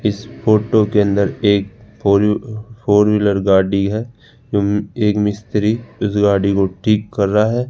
इस फोटो के अंदर एक फो फोर व्हीलर गाड़ी है जो एक मिस्त्री इस गाड़ी को ठीक कर रहा है।